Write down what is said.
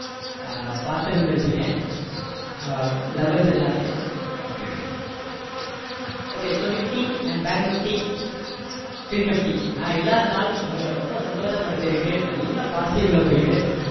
அஹ் பாத்திருந்திருப்பீங்க ஆஹ் levels எல்லாமே okay so nifty and bank nifty fin nifty நான் இல்லாதனால் உங்களை ரொம்ப சந்தோஷப்படுத்தியிருக்கு நல்லா positive ல போயிட்டு